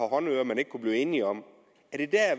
håndører man ikke kunne blive enig om er det